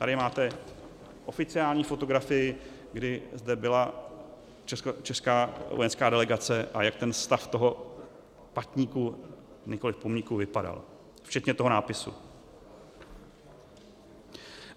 Tady máte oficiální fotografii, kdy zde byla česká vojenská delegace a jak ten stav toho patníku, nikoliv pomníku, vypadal - včetně toho nápisu.